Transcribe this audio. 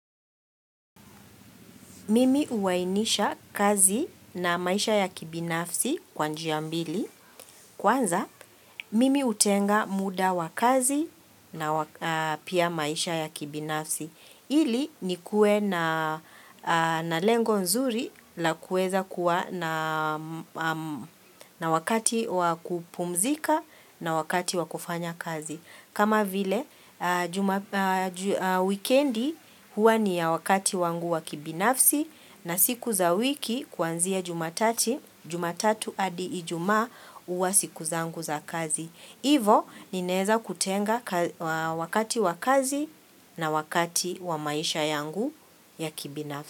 Mimi uwainisha kazi na maisha ya kibinafsi kwa njia mbili. Kwanza, mimi utenga muda wa kazi na pia maisha ya kibinafsi. Ili nikuwe na lengo nzuri la kueza kuwa na wakati wa kupumzika na wakati wakufanya kazi. Kama vile, weekendi huwa ni ya wakati wangu wa kibinafsi na siku za wiki kwanzia jumatati, jumatatu adi ijuma uwa siku zaangu za kazi. Hivo, ninaeza kutenga wakati wa kazi na wakati wa maisha yangu ya kibinafsi.